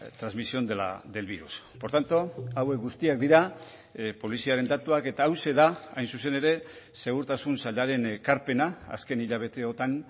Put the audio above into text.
transmisión del virus por tanto hauek guztiak dira poliziaren datuak eta hauxe da hain zuzen ere segurtasun sailaren ekarpena azken hilabeteotan